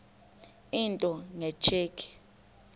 into nge tsheki